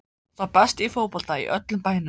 Sá besti í fótbolta í öllum bænum.